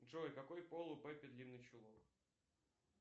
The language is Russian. джой какой пол у пеппи длинный чулок